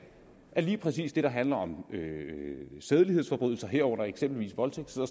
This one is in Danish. at lige præcis det der handler om sædelighedsforbrydelser herunder eksempelvis voldtægt sidder